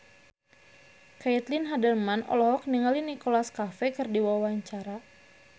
Caitlin Halderman olohok ningali Nicholas Cafe keur diwawancara